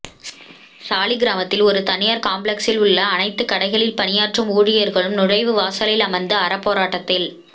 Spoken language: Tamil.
சாலிகிராமத்தில் ஒரு தனியார் காம்ப்ளக்சில் உள்ள அனைத்து கடைகளில் பணியாற்றும் ஊழியர்களும் நுழைவு வாசலில் அமர்ந்து அறப்போராட்டத்தில்